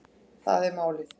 Það er málið